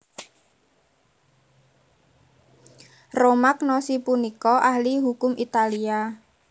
Romagnosi punika ahli hukum Italia